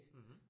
Mh